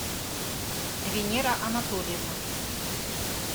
венера анатольевна